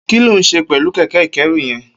Kiló n ṣé pẹ̀lú kẹkẹ ikẹ̀rú yèn?